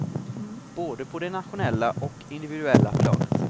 Både på det nationella och individuella planet.